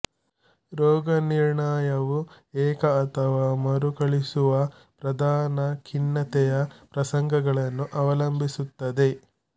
ರೋಗನಿರ್ಣಯವು ಏಕ ಅಥವಾ ಮರುಕಳಿಸುವ ಪ್ರಧಾನ ಖಿನ್ನತೆಯ ಪ್ರಸಂಗಗಳನ್ನು ಅವಲಂಬಿಸಿರುತ್ತದೆ